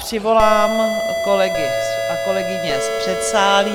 Přivolám kolegy a kolegyně z předsálí.